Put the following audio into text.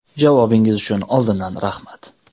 Javobingiz uchun oldindan rahmat.